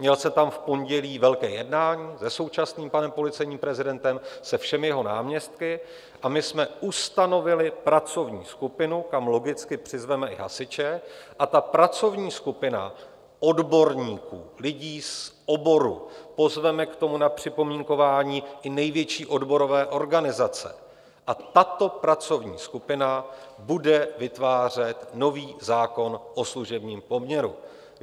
Měl jsem tam v pondělí velké jednání se současným panem policejním prezidentem, se všemi jeho náměstky, a my jsme ustanovili pracovní skupinu, kam logicky přizveme i hasiče, a ta pracovní skupina odborníků, lidí z oboru - pozveme k tomu na připomínkování i největší odborové organizace - a tato pracovní skupina bude vytvářet nový zákon o služebním poměru.